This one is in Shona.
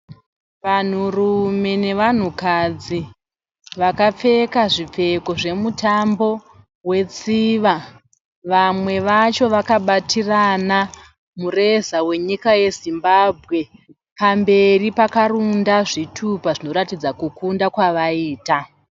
Vanhurume nevanhukadzi vakapfeka zvipfeko zvemutambo wetsviva, vamwe vacho vakabatirana mureza wenyika yeZimbabwe. Pamberi pakarunda zvitupa zvinoratidza kukunda kwavaita.